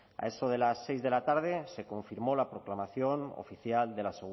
a eso de las seis de la tarde se confirmó la proclamación oficial de la